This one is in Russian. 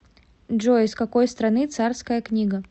джой из какой страны царская книга